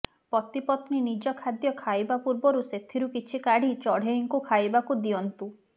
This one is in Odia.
ପତିପତ୍ନୀ ନିଜ ଖାଦ୍ୟ ଖାଇବା ପୂର୍ବରୁ ସେଥିରୁ କିଛି କାଢି ଚଢେଇଙ୍କୁ ଖାଇବାକୁ ଦିଅନ୍ତୁ